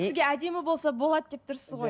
сізге әдемі болса болады деп тұрсыз ғой